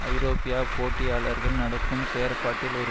ஐரோப்பிய போட்டியாளர்கள் நடக்கும் செற்பாட்டில் ஒரு